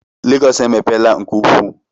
Lagos emepeela nke ukwuu